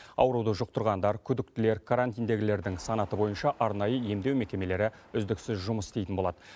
ауруды жұқтырғандар күдіктілер карантиндегілердің санаты бойынша арнайы емдеу мекемелері үздіксіз жұмыс істейтін болады